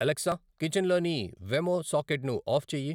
Alexa కిచెన్లోని Wemo సాకెట్ను off చేయి